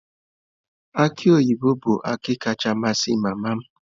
Aki oyibo bụ akị kacha amasị mama m.